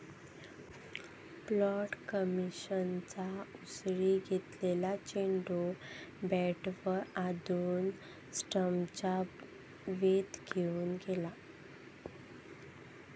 पॅट कमिन्सच्या उसळी घेतलेला चेंडू बॅटवर आदळून स्टम्प्सचा वेध घेऊन गेला.